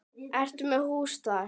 Ertu með hús þar?